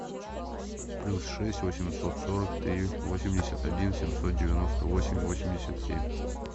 плюс шесть восемьсот сорок три восемьдесят один семьсот девяносто восемь восемьдесят семь